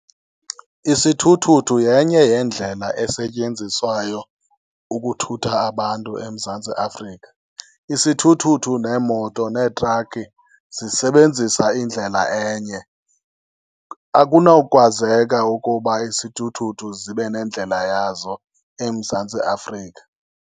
Isithuthuthu yenye yendlela esetyenziswayo ukuthutha abantu eMzantsi Afrika. Isithuthuthu neemoto neetrakhi zisebenzisa indlela enye. Akunawukwazeka ukuba isithuthuthu zibe nendlela yazo eMzantsi Afrika.